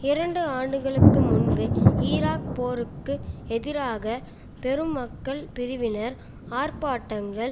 இரண்டு ஆண்டுகளுக்கு முன்பு ஈராக் போருக்கு எதிராக பெரும் மக்கள் பிரிவினர் ஆர்ப்பாட்டங்கள்